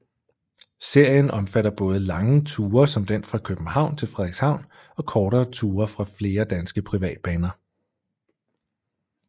Serien omfatter både lange ture som den fra København til Frederikshavn og kortere ture fra flere danske privatbaner